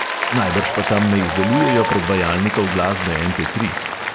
Najbrž pa tam ne izdelujejo predvajalnikov glasbe MP tri.